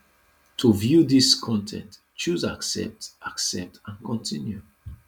to view dis con ten t choose accept accept and continue